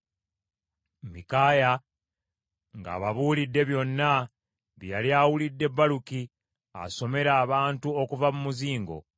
Mikaaya ng’ababuulidde byonna bye yali awulidde Baluki asomera abantu okuva ku muzingo,